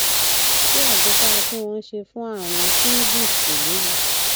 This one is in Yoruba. ṣé àjẹsára tí wón ń ṣe fún àrùn shingles kò léwu